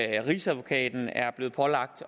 rigsadvokaten er blevet pålagt